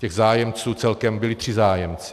Těch zájemců celkem, byli tři zájemci.